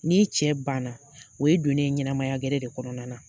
Ni n cɛ banna o ye don ne ye ɲɛnamaya gɛrɛ de kɔnɔna na